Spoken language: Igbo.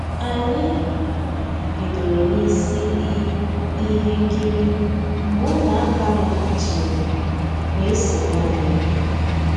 Ànyị́ bidoro n'ísí i íhé nkírí mgbé Ụmụ́àká lọ́ghàchíré weé sonyéé ànyị́.